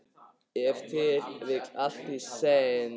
Ef til vill allt í senn.